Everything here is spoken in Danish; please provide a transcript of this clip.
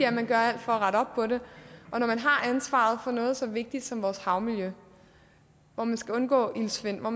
at man gør alt for at rette op på den og når man har ansvaret for noget så vigtigt som vores havmiljø hvor man skal undgå iltsvind og